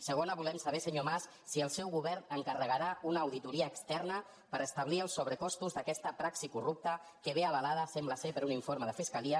segona volem saber senyor mas si el seu govern encarregarà una audito·ria externa per establir els sobrecostos d’aquesta praxi corrupta que ve avalada sembla per un informe de fiscalia